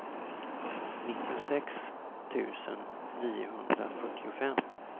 nittiosex tusen niohundrafyrtiofem